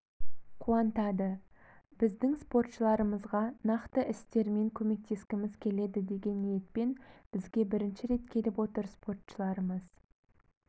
қуантады біздің спортшыларымызға нақты істермен көмектескіміз келеді деген ниетпен бізге бірінші рет келіп отыр спортшыларымыз